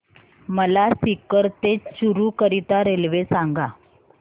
मला सीकर ते चुरु करीता रेल्वे सांगा